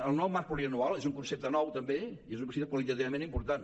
el nou marc plurianual és un concepte nou també i és un concepte qualitativament important